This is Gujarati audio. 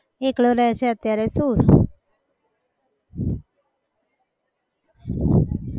એકલો રહે છે અત્યારે શું.